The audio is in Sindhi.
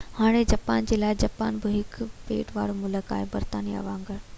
هاڻي جاپان جي لاءِ جاپان بہ هڪ ٻيٽ وارو ملڪ هو برطانيا وانگر